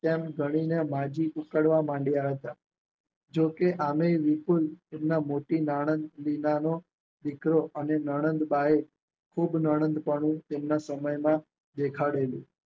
તેમ ગણીને બાજી ઉકાળવા માંડિયા હતા. જો કે આમેય વિપુલ એમના મોટી નણંદ વિનાનો દીકરો અને નણંદ બાએ ખુબ નણંદપણું તેમના સમયમાં દેખડેલું